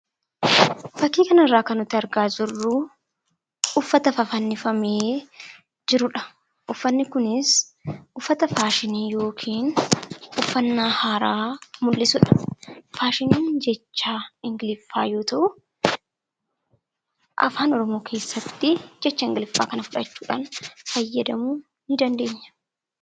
Fakkii kana irraa kan nuti argaa jirruu uffata fafannifamee jirudha. Uffanni kunis uffata faashinii yookiin uffannaa haaraa mul'isudha. Faashiniin jecha Ingliffaa yoo ta'u, Afaan Oromoo keessatti jecha Ingiliffaa kana fudhachuudhaan fayyadamuu ni dandeenya.